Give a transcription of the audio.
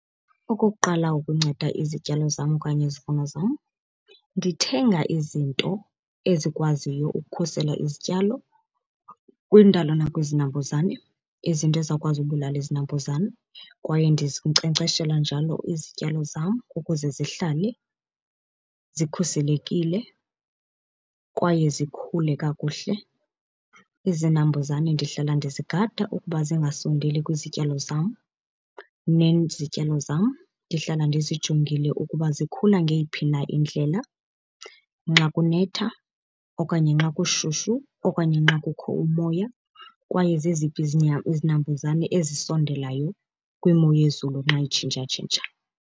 Okokuqala ukunceda izityalo zam okanye izivuno zam, ndithenga izinto ezikwaziyo ukukhusela izityalo kwindalo nakwizinambuzane, izinto ezizawukwazi ubulala izinambuzane. Kwaye ndizinkcenkceshela njalo izityalo zam ukuze zihlale zikhuselekile kwaye zikhule kakuhle. Izinambuzane ndihlala ndizigada ukuba zingasondeli kwizityalo zam, nezityalo zam ndihlala ndizijongile ukuba zikhula ngeyiphi na indlela nxa kunetha okanye nxa kushushu okanye nxa kukho umoya kwaye zeziphi izinambuzane ezisondelayo kwimo yezulu nxa itshintshatshintsha.